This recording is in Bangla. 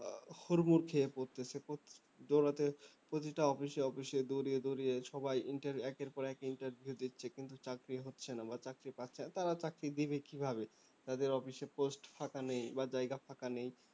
হুড়মুড় খেয়ে পড়ছে প দৌড়াতে প্রতিটা office এ office এ দৌড়িয়ে দৌড়িয়ে সবাই Inter একের পর এক interview দিচ্ছে কিন্তু চাকরি হচ্ছে না বা চাকরি পাচ্ছে না তারা চাকরি দেবে কিভাবে যাদের office এ post ফাঁকা নেই বা জায়গা ফাঁকা নেই